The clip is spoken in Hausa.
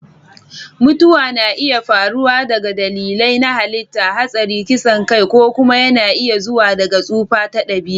Mutuwa na iya faruwa daga dalilai na halitta (hatsari, kisan kai), ko kuma yana iya zuwa daga tsufa ta dabi'a.